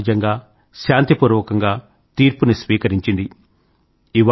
ఎంతో సహజంగా శాంతి పూర్వకంగా తీర్పుని స్వీకరించింది